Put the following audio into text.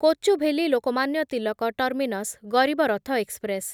Kochuveli Lokmanya Tilak terminus Garib Rath express